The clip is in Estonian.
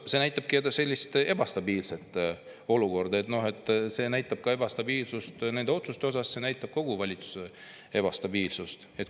See näitabki ebastabiilset olukorda, see näitab ka otsuste ebastabiilsust, see näitab kogu valitsuse ebastabiilsust.